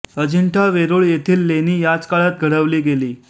अजिंठा वेरूळ यथील लेणी याच काळात घडवली गेली